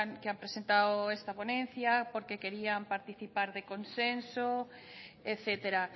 que han presentado esta ponencia porque querían participar de consenso etcétera